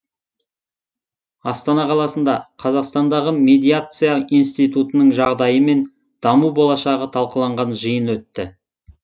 астана қаласында қазақстандағы медиация институтының жағдайы мен даму болашағы талқыланған жиын өтті